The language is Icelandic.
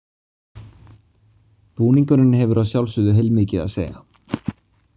Búningurinn hefur að sjálfsögðu heilmikið að segja.